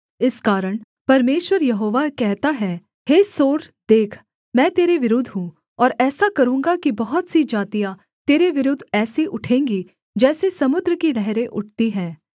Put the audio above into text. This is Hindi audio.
इस कारण परमेश्वर यहोवा कहता है हे सोर देख मैं तेरे विरुद्ध हूँ और ऐसा करूँगा कि बहुत सी जातियाँ तेरे विरुद्ध ऐसी उठेंगी जैसे समुद्र की लहरें उठती हैं